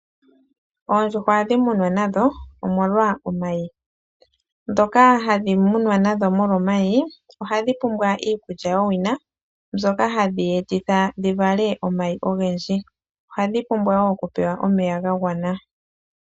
Oondjuhwa ohadhi munwa molwaashoka ohadhi vala omayi. Ndhoka hadhi munwa nadho molwa omayi ohadhi pumbwa iikulya yowina. Shika oshili hashi dhi etitha dhi vale omayi ogendji. Ohadhi pumbwa wo okupewa omeya ga gwana.